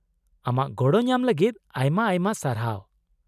ᱟᱢᱟᱜ ᱜᱚᱲᱚ ᱧᱟᱢ ᱞᱟᱹᱜᱤᱫ ᱟᱭᱢᱟ ᱟᱭᱢᱟ ᱥᱟᱨᱦᱟᱣ ᱾